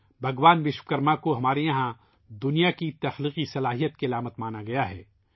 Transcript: بھگوان وشوکرما کو ہمارے یہاں دنیا کی تخلیقی طاقت کی علامت سمجھا جاتا ہے